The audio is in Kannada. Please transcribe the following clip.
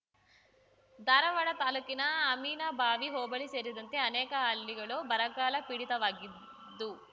ಧಾರವಾಡ ತಾಲೂಕಿನ ಅಮ್ಮಿನಬಾವಿ ಹೋಬಳಿ ಸೇರಿದಂತೆ ಅನೇಕ ಹಳ್ಳಿಗಳು ಬರಗಾಲ ಪೀಡಿತವಾಗಿದ್ದು